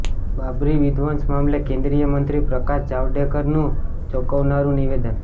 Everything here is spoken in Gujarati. બાબરી વિધ્વંસ મામલે કેન્દ્રીય મંત્રી પ્રકાશ જાવડેકરનું ચોંકાવનારું નિવેદન